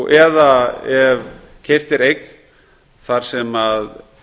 eða ef keypt er eign þar sem